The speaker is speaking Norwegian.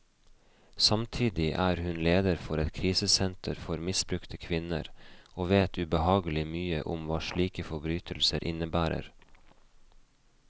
Samtidig er hun leder for et krisesenter for misbrukte kvinner, og vet ubehagelig mye om hva slike forbrytelser innebærer.